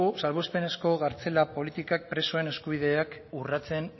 salbuespenezko kartzela politikak presoen eskubideak urratzen